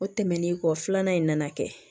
O tɛmɛnen kɔ filanan in nana kɛ